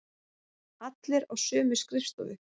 Allir á sömu skrifstofu.